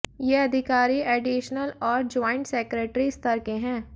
ये अधिकारी एडिशनल और ज्वाइंट सेक्रेटरी स्तर के हैं